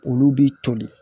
Olu bi toli